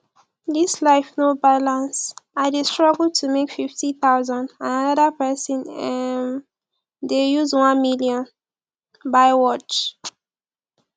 dis life no balance i dey struggle to make fifty thousand and another person um dey use one million buy watch